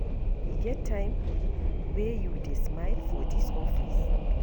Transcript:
E get time wey you dey smile for dis office?